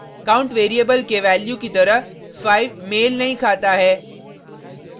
count variable के value की तरह 5 मेल नहीं खाता है